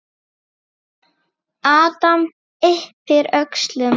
Adam yppir öxlum.